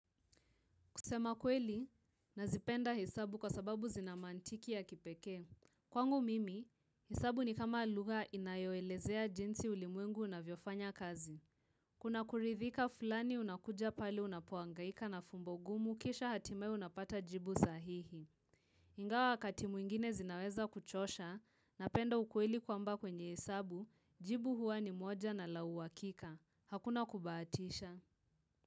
Kusema kweli, nazipenda hesabu kwa sababu zina maantiki ya kipekee. Kwangu mimi, hesabu ni kama lugha inayoelezea jinsi ulimwengu unavyofanya kazi. Kunakuridhika fulani unakuja pale unapohangaika na fumbo gumu kisha hatimaye unapata jibu sahihi. Ingawa wakati mwingine zinaweza kuchosha, napenda ukweli kwamba kwenye hesabu, jibu huwa ni moja na la uhakika. Hakuna kubahatisha.